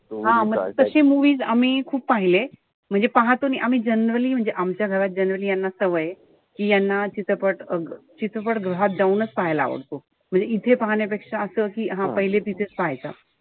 हा म तशी movies आम्ही खूप पाहिले. म्हणजे पाहतो आम्ही generally आमच्या घरात generally यांना सवय आहे. कि याना चित्रपट चित्रपट गृहात जाऊनच पाहायला आवडतो. म्हणजे इथे पाहण्यापेक्षा असं कि हा पहिले तिथेच पाहायचा.